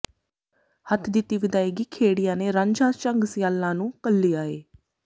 ਹੱਥ ਦਿੱਤੀ ਵਿਦਾਈਗੀ ਖੇੜਿਆਂ ਨੇ ਰਾਂਝਾ ਝੰਗ ਸਿਆਲਾਂ ਨੂੰ ਘੱਲਿਆ ਏ